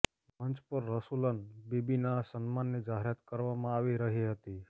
મંચ પર રસૂલન બીબીના સન્માનની જાહેરાત કરવામાં આવી રહી હતી